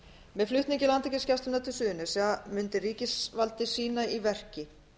með flutningi landhelgisgæslunnar á suðurnes mundi ríkisvaldið sýna í verki